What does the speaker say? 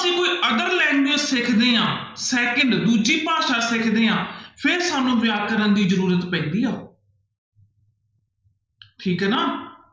ਅਸੀਂ ਕੋਈ other language ਸਿੱਖਦੇ ਹਾਂ second ਦੂਜੀ ਭਾਸ਼ਾ ਸਿੱਖਦੇ ਹਾਂ ਫਿਰ ਸਾਨੂੰ ਵਿਆਕਰਨ ਦੀ ਜ਼ਰੂਰ ਪੈਂਦੀ ਆ ਠੀਕ ਹੈ ਨਾ